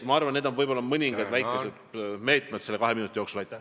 Need olid mõningad väikesed meetmed, mida ma sain selle kahe minuti jooksul tutvustada.